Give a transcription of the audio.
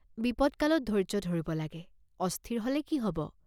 বিপদকালত ধৈৰ্য্য ধৰিব লাগে, অস্থিৰ হলে কি হব?